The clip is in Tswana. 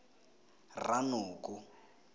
rranoko